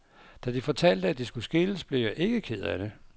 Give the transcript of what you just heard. Da de fortalte, at de skulle skilles, blev jeg ikke ked af det.